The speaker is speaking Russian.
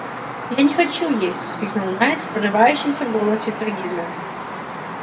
я не хочу есть воскликнул найд с прорывающимся в голосе трагизмом